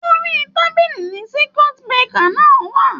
Orí tábìlì ni circuit breaker náà wà.